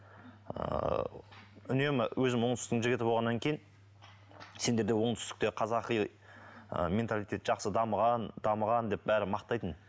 ыыы үнемі өзім оңтүстіктің жігіті болғаннан кейін сендерде оңтүстікте қазақи ы менталитет жақсы дамыған дамыған деп бәрі мақтайтын